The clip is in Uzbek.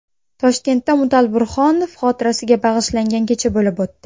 Toshkentda Mutal Burhonov xotirasiga bag‘ishlangan kecha bo‘lib o‘tdi.